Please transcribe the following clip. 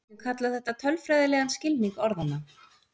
Við getum kallað þetta tölfræðilegan skilning orðanna.